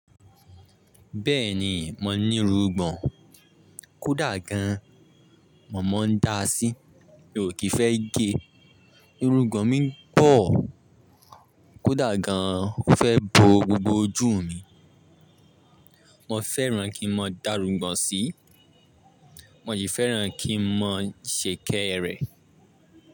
Bẹ́ẹ̀ni, mo ní irungbọ̀n. Kódà gan, mọ̀ ọ́n ń da sí. Mi ò kì í fẹ́ gẹ̀ ẹ́. Irungbọ̀n mi ń pọ̀ kódà gan ọ fẹ́ bo gbogbo ojú mi. Mo fẹ́ràn kí n mọ dárúgbà sí. Mo sì fẹ́ràn kí n mọ ṣekere.